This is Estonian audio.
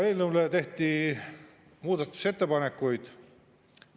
Eelnõu kohta tehti muudatusettepanekuid.